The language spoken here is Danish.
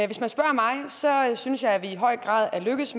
hvis man spørger mig synes jeg at det i høj grad er lykkedes